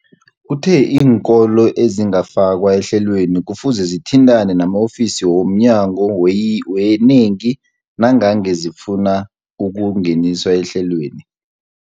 Uthe iinkolo ezingakafakwa ehlelweneli kufuze zithintane nama-ofisi wo mnyango weeyi weeyingi nangange zifuna ukungeniswa ehlelweni.